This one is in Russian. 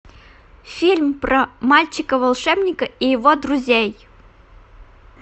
фильм про мальчика волшебника и его друзей